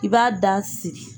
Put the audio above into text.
I b'a da siri.